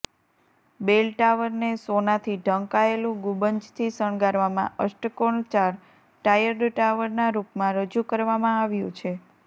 બેલ ટાવરને સોનાથી ઢંકાયેલું ગુંબજથી શણગારવામાં અષ્ટકોણ ચાર ટાયર્ડ ટાવરના રૂપમાં રજૂ કરવામાં આવ્યું છે